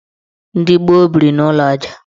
Ndị gboo biri n' ụlọ aja.